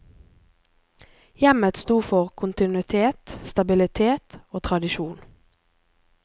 Hjemmet stod for kontinuitet, stabilitet og tradisjon.